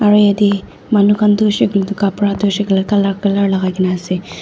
aru yatae manu khan tu hoishey koilae tu kapra tu hoishey koilae tu colour colour lakaikaena ase.